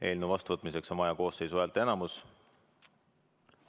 Eelnõu vastuvõtmiseks on vaja koosseisu häälteenamust.